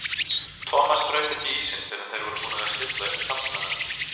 Thomas braut ekki ísinn fyrr en þeir voru búnir að stilla upp taflmönnunum.